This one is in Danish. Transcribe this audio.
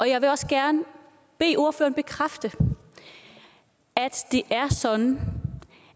jeg vil også gerne bede ordføreren bekræfte at det er sådan